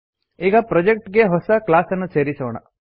ಈಗ ಪ್ರೊಜೆಕ್ಟ್ ಗೆ ಹೊಸ ಕ್ಲಾಸ್ ಅನ್ನು ಸೇರಿಸೋಣ